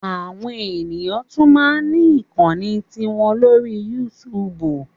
Àwọn ènìyàn ṣí tún máa ní ìkànnlé tiwọn lórí yútúbú